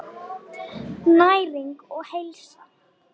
Næring og heilsa.